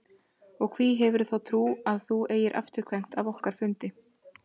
Og hví hefurðu þá trú að þú eigir afturkvæmt af okkar fundi?